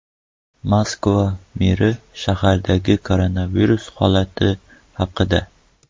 Moskva meri shahardagi koronavirus holati haqida.